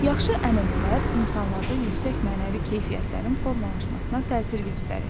Yaxşı ənənələr insanlarda yüksək mənəvi keyfiyyətlərin formalaşmasına təsir göstərir.